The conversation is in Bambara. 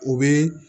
U bɛ